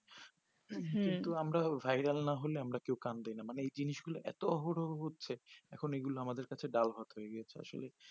হু কিন্তু আমার vairal না হলে আমার কেউ কান দিই না মানে এই জেনিস গুলো এত অহরহ হচ্ছে এখন এগুলো আমাদের কাছে ডালভাত হয়ে গেছে আসলে